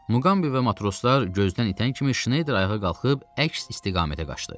Muqambi və matroslar gözdən itən kimi Şneyder ayağa qalxıb əks istiqamətə qaçdı.